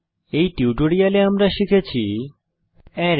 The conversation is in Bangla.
এই টিউটোরিয়াল আমরা শিখেছি অ্যারেস